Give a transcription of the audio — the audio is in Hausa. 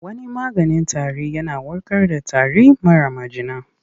Wani maganin tarin yana warkar da tari mara majina.